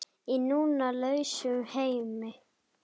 Í nú lausum heimi.